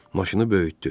Maşını böyütdü.